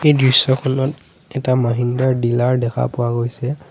এই দৃশ্যখনত এটা মহিন্দ্ৰাৰ ডিলাৰ দেখা পোৱা গৈছে।